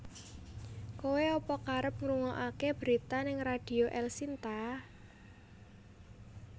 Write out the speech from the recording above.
Koe apa kerep ngrungoake berita ning Radio Elshinta?